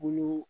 Bolo